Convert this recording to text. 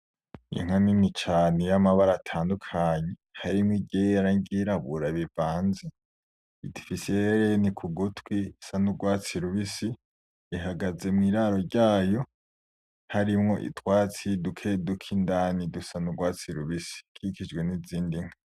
Inka nini cane yamabara atandukanye harimwo iryera niryirabura bivanze , ifise ihereni kugutwi isa nurwatsi rubisi ihagaze mwiraro ryayo harimwo utwatsi dukeduke indani dusa nurwatsi rubisi ikikijwe nizindi nka .